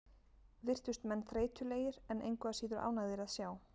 Virtust menn þreytulegir, en engu að síður ánægðir að sjá.